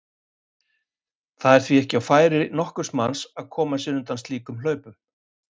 Það er því ekki á færi nokkurs manns að koma sér undan slíkum hlaupum.